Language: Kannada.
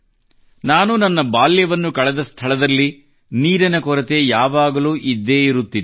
ನಾನು ನನ್ನ ಬಾಲ್ಯವನ್ನು ಕಳೆದ ಸ್ಥಳದಲ್ಲಿ ನೀರಿನ ಕೊರತೆ ಯಾವಾಗಲೂ ಇದ್ದೇ ಇರುತ್ತಿತ್ತು